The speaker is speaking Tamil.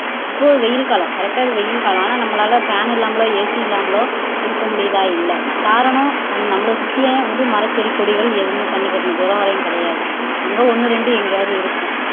இப்போ வெயில் காலம் correct ஆ இது வெயில் காலம் ஆனா நம்மளால fan இல்லாமலோ AC இல்லாமலோ இருக்க முடியுதா இல்லை காரணம் நம்மளை சுத்தியே வந்து மரம் செடி கொடிகள் எதுவுமே கண்ணுக்கு எட்டுன தூரம் வரையும் கிடையாது அங்க ஒண்ணு ரெண்டு எங்கயாவது இருக்கும்